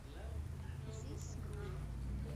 зис грув